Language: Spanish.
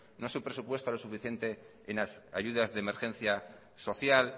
no se presupuesta lo suficiente en ayudas de emergencia social